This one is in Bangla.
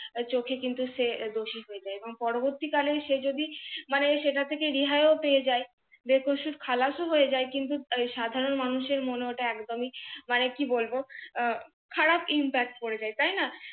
চোখে কিন্তু সে দোষী হয়ে যায়। এবং পরবর্তীকালে সে যদি মানে সেটা থেকে রেহাইও পেয়ে যায় বেকসুর খালাস ও পেয়ে যায় কিন্তু সাধারণ মানুষের মনে ওটা একদমি মানে কি বলব কারাপ IMPACT পড়ে যায় তাই না?